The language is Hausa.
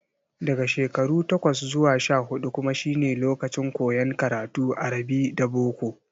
Daga shekaru takwas zuwa sha-huɗu kuma shine lokacin koyon karatun arabi da boko.